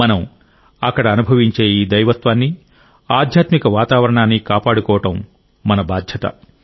మనం అక్కడ అనుభవించే ఈ దైవత్వాన్ని ఆధ్యాత్మిక వాతావరణాన్ని కాపాడుకోవడం మన బాధ్యత